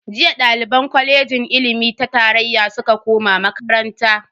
Jiya daliban kwalejin ilimi ta tarayya suka koma makaranta.